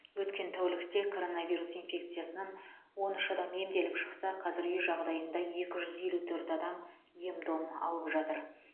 өткен тәулікте коронавирус инфекциясынан он үш адам емделіп шықса қазір үй жағдайында екі жүз елу төрт адам ем дом алып жатыр